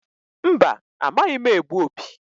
Mba! Amaghị m egbu opi.